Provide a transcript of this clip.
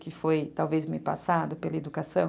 Que foi talvez me passado pela educação.